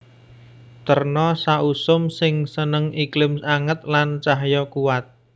Terna sausum sing seneng iklim anget lan cahya kuwat